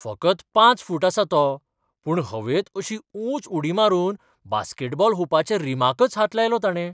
फकत पाच फूट आसा तो. पूण हवेंत अशी उंच उडी मारून बास्केटबॉल हुपाच्या रिमाकच हात लायलो ताणें.